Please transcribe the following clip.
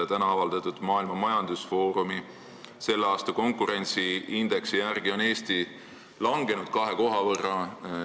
Täna avaldatud Maailma Majandusfoorumi tänavuse konkurentsiindeksi järgi on Eesti kahe koha võrra langenud.